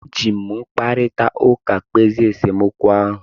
E ji m mkparịta ụka kpezie nsemokwu ahụ.